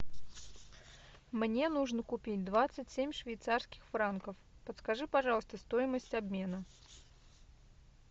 мне нужно купить двадцать семь швейцарских франков подскажи пожалуйста стоимость обмена